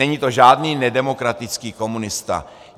Není to žádný nedemokratický komunista.